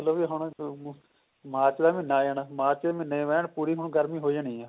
ਇਹ ਦੇਖਲੋ ਵੀ ਹੁਣ ਮਾਰਚ ਦਾ ਮਹੀਨਾ ਆ ਜਾਣਾ ਮਾਰਚ ਦਾ ਮਹੀਨਾ ਐਨ ਪੂਰੀ ਹੁਣ ਗਰਮੀ ਹੋ ਜਾਣੀ ਹੈ